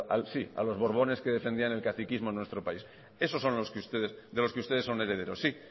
a los borbones que defendían el catequismo en nuestro país esos son de los que ustedes son herederos sí